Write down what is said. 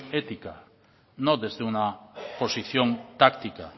ética no desde una posición táctica